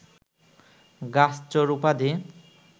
গাছ চোর উপাধি